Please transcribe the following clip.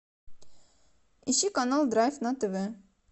ищи канал драйв на тв